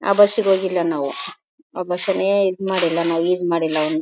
ಆ ಬಸ್ ಗೆ ಹೋಗಿಲ್ಲ ನಾವು ಆ ಬಸ್ ನೇ ಇದ್ ಮಾಡಿಲ್ಲ ನಾವು ಯೂಸ್ ಮಾಡಿಲ್ಲ.